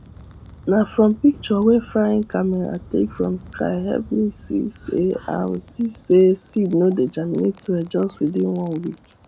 na from picture wey frying camera take from sky help am see say am see say seed no dey germinate well just within one week